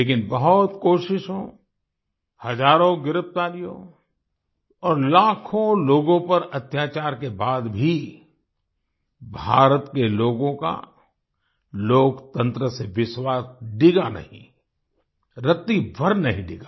लेकिन बहुत कोशिशों हजारों गिरफ्तारियों और लाखों लोगों पर अत्याचार के बाद भी भारत के लोगों का लोकतंत्र से विश्वास डिगा नहीं रत्ती भर नहीं डिगा